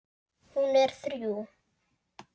Hún er þrjú.